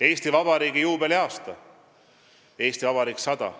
Eesti Vabariigi juubeliaasta, Eesti Vabariik 100.